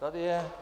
Tady je.